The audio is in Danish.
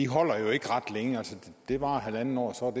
holder jo ikke ret længe det varer halvandet år og så